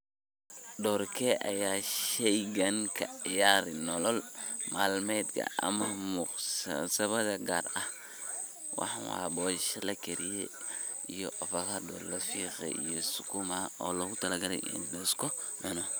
Doorkee ayuu ka ciyaaraa nolol maalmeedka ama munaasabadaha gaar ah waxan wa bosho la kare iyo ovakado lafiqaay iyo sakuma o lowtalagalaay lasku cuno.